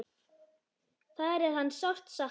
Þar er hans sárt saknað.